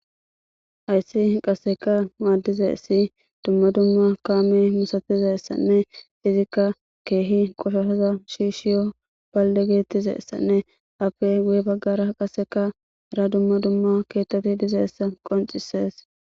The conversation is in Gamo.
Hayssi qaseka maaddize ssi dumma dumma kaame musatize essanne izikka keehi qoshoaza shiishiyo balde geettize essanne afe guye baggara qaseka ra dumma dumma keettati dizeessa qoncisees